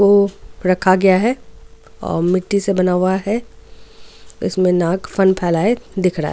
को रखा गया है और मिट्टी से बना हुआ है इसमें नाग फन फैलाए दिख रहा है.